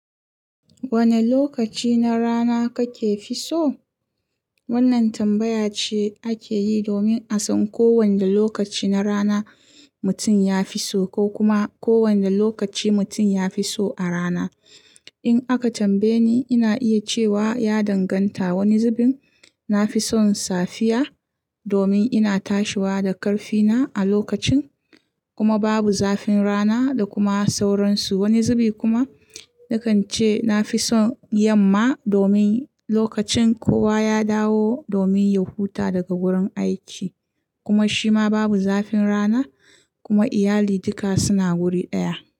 Wane lokaci na rana kake fi so? Wannan tambaya ce ake yi domin a san ko wane lokaci na rana mutum ya fi so ko kuma ko wane lokaci mutum ya fi so a rana. In aka tambaye ni, ina iya cewa ya danganta. Wani zubin nafi son safiya domin ina tashiwa da karfi na a lokacin kuma babu zafin rana da kuma sauransu. Wani zubi kuma nakan ce nafi son yamma domin lokacin kowa ya dawo domin ya huta daga wurin aiki kuma shi ma babu zafin rana kuma iyali duka suna wuri ɗaya.